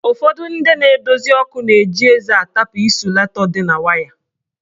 Ụfọdụ ndị na-edozi ọkụ na-eji eze atapụ ịsulatọ dị na waya.